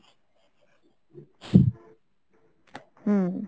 হম।